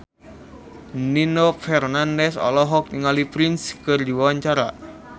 Nino Fernandez olohok ningali Prince keur diwawancara